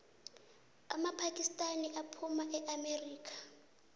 amapakisitani abhoma imaerika